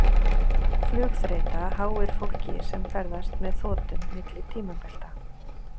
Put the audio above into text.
flugþreyta háir fólki sem ferðast með þotum milli tímabelta